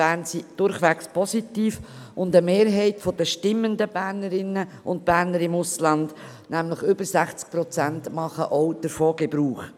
Bern sind durchwegs positiv, und eine Mehrheit der abstimmenden Bernerinnen und Berner im Ausland, nämlich über 60 Prozent, macht auch davon Gebrauch.